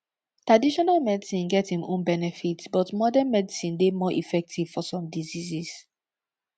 taditional medicine get im own benefits but modern medicine dey more effective for some diseases